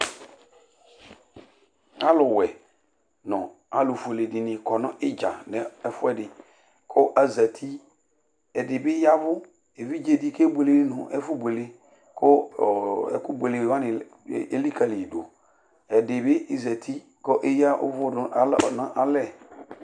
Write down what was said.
Aluwɛ nu alufuele dini kɔ n'idza n'ɛfuɛdi ku azati, ɛdini bi ya vu, evidze di k'ebuele nu ɛfu buele, ku ɛku buelewa ni elikali ma dù, ɛdi bi zati k'eya uvú du n'alɛ̃